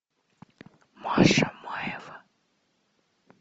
маша маева